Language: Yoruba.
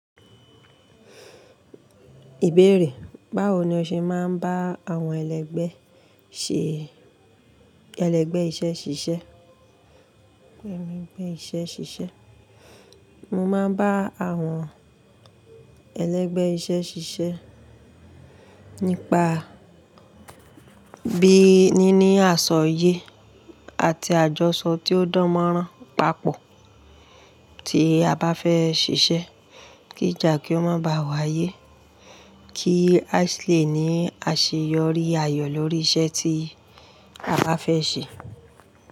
Ìbéèrè, báwo ni o ṣe máa ń bá àwọn ẹlẹgbẹ ṣe ẹlẹgbẹ iṣẹ ṣiṣẹ? Mo máa ń bá àwọn ẹlẹgbẹ iṣẹ ṣiṣẹ nípa bí níní àsọyé àti àjọṣọ tí ó dánmọ́rán papọ̀ tí a bá fẹ ṣiṣẹ́. Kíjà kí ó má bá wáyé. Kí àsi lè ní àṣeyọrí ayọ̀ lórí iṣẹ́ tí a bá fẹ ṣe.